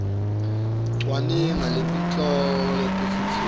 cwaninga ngetihloko letitsetfwe